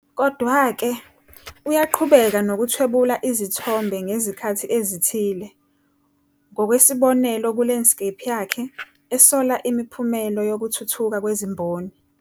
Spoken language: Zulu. Kodwa-ke, uyaqhubeka nokuthwebula izithombe ngezikhathi ezithile, ngokwesibonelo kuLandscape yakhe, esola imiphumela yokuthuthuka kwezimboni.